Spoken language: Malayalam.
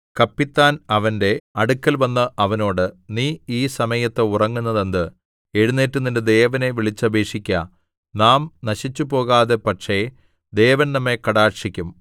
കപ്പിത്താൻ അവന്റെ അടുക്കൽവന്ന് അവനോട് നീ ഈ സമയത്തു ഉറങ്ങുന്നത് എന്ത് എഴുന്നേറ്റ് നിന്റെ ദേവനെ വിളിച്ചപേക്ഷിക്ക നാം നശിച്ചുപോകാതെ പക്ഷേ ദേവന്‍ നമ്മെ കടാക്ഷിക്കും